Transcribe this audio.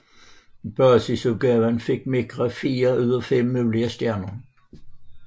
I basisudgaven fik Micra fire ud af fem mulige stjerner